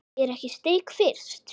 Er ekki steik fyrst?